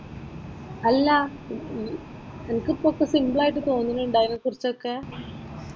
അല്ലാ നിനക്ക് കുറച്ച് സിംപിളായിട്ട് തോന്നുന്നുണ്ടോ അതിനെക്കുറിച്ചൊക്കെ.